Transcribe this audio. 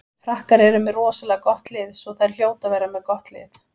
Frakkar eru með rosalega gott lið svo þær hljóta að vera með gott lið.